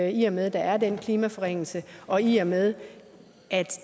i og med at der er den klimaforringelse og i og med at